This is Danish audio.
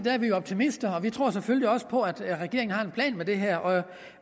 er vi jo optimister og vi tror selvfølgelig også på at regeringen har en plan med det her